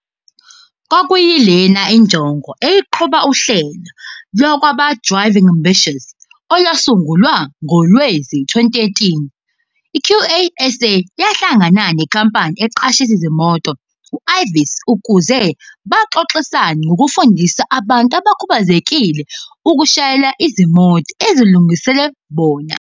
Kwakuyilena injongo eyayiqhuba uhlelo lwabakwa-Driv ing Ambitions, olwasungulwa ngowezi-2013. I-QASA yahla ngana nenkampani eqashisa izimoto i-Avis ukuze baxox isane ngokufundisa abantu abakhubazekile ukushayela izimoto ezilungiselelwe bona.